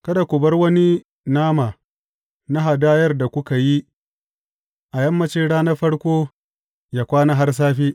Kada ku bar wani nama na hadayar da kuka yi a yammancin ranar farko, yă kwana har safe.